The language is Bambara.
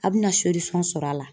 A bina sɔrɔ a la